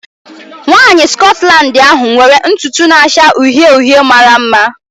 Nwanyị Scotland ahu nwere ntutu na-acha uhie uhie mara mma.